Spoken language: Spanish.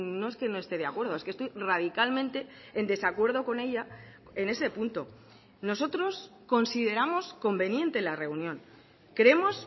no es que no esté de acuerdo es que estoy radicalmente en desacuerdo con ella en ese punto nosotros consideramos conveniente la reunión creemos